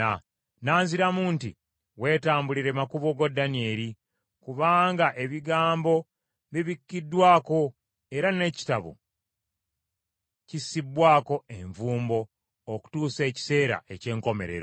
N’anziramu nti, “Weetambulire makubo go, Danyeri, kubanga ebigambo bibikiddwako era n’ekitabo kissibbwako envumbo okutuusa ekiseera eky’enkomerero.